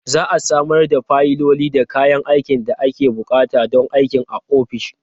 Za a samar da fayiloli da kayan aikin da ake buƙata don aikin a ofishin.